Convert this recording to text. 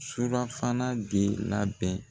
Surafana de labɛn.